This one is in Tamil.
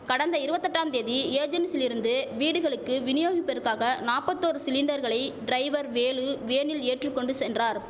கடந்த இருவத்தெட்டாம் தேதி ஏஜென்சிலிருந்து வீடுகளுக்கு விநியோகிப்பற்காக நாப்பத்தொரு சிலிண்டர்களை டிரைவர் வேலு வேனில் ஏற்றுகொண்டு சென்றார்